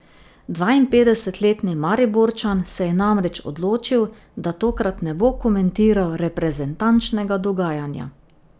Dvainpetdesetletni Mariborčan se je namreč odločil, da tokrat ne bo komentiral reprezentančnega dogajanja.